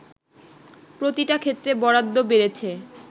“প্রতিটা ক্ষেত্রে বরাদ্ধ বেড়েছে